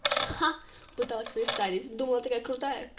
ха пыталась представить думала такая крутая